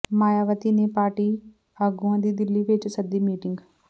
ਮਾਇਆਵਤੀ ਨੇ ਪਾਰਟੀ ਆਗੂਆਂ ਦੀ ਦਿੱਲੀ ਵਿੱਚ ਸੱਦੀ ਮੀਟਿੰਗ